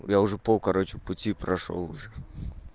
я уже пол кароче пути прошёл уже